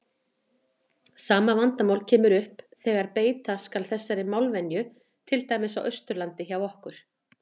Sama vandamál kemur upp þegar beita skal þessari málvenju til dæmis á Austurlandi hjá okkur.